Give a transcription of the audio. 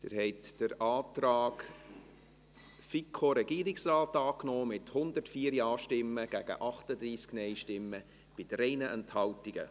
Sie haben den Antrag FiKo/Regierungsrat angenommen, mit 104 Ja- gegen 38 NeinStimmen bei 3 Enthaltungen.